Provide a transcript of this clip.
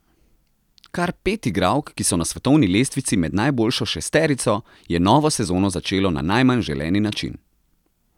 Kar pet igralk, ki so na svetovni lestvici med najboljšo šesterico, je novo sezono začelo na najmanj želeni način.